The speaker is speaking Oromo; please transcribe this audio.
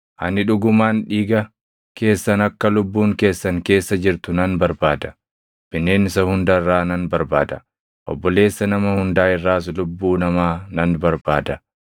Ani dhugumaan dhiiga keessan kan lubbuun keessan keessa jirtu nan barbaada. Bineensa hunda irraa nan barbaada. Obboleessa nama hundaa irraas lubbuu namaa nan barbaada.